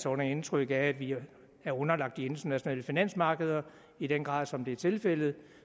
under indtryk af at vi er underlagt de internationale finansmarkeder i den grad som det er tilfældet